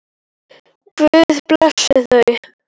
Guð blessi þau.